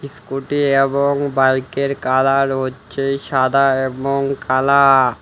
Scooty এবং বাইকের colour হচ্ছে সাদা এবং কালা।